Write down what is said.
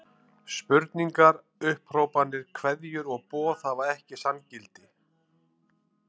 Spurningar, upphrópanir, kveðjur og boð hafa ekki sanngildi.